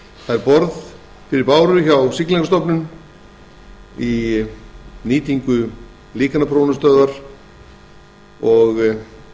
það er borð fyrir báru hjá siglingastofnun í nýtingu líkanaprófunarstöðvar og